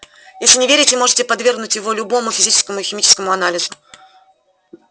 если не верите можете подвергнуть его любому физическому и химическому анализу